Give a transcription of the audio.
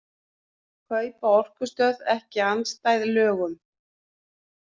Kaup á orkustöð ekki andstæð lögum